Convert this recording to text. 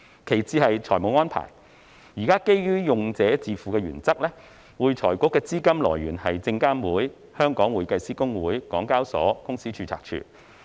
其次是財政安排，現時基於用者自付原則，會財局的資金來源是證監會、會計師公會、港交所和公司註冊處。